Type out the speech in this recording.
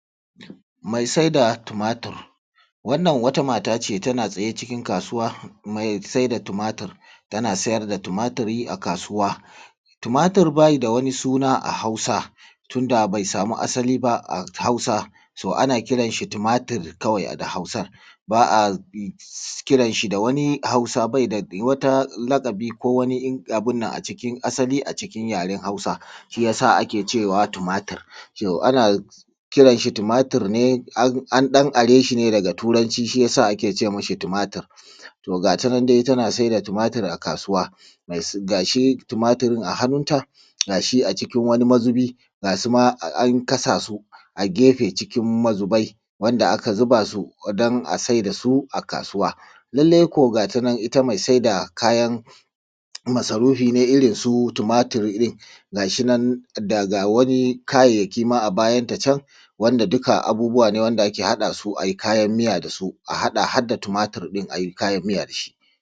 Mai saida tumatur. Wannan wata mata ce tana tsaye cikin kasuwa mai saida tumatur, tana sayar da tumatur a kasuwa. Tumatur bai da wani suna a Hausa tunda bai sama asali ba so ana kiransa shi tumatur da Hausa, ba a kiran shi da wani Hausa ko wata lakabi ko wata abun nan a cikin yaren Hausa. Shi ya sa ake cewa tumatur, an dan are shi neː daga turanci shi ya sa ake ce ma shi tumatur. To ga tanan dai tana saida tumatur dai a kasuwa ga shi tumatur a hannunta ga shi a jiki wani mazubi ga su ma an kasa su a gefe a cikin mazubai wanda aka zuba su din a saida su a kasuwa. Lallai ko ga ta nan ita mai saida kayan masarufi ne irinsu tumatur din daga wani kayyayaki a bayanta can wanda dukka abubuwa ne wanda ake haɗa su a yi kayan miya da su har tumatur din a yi kayan miya da shi.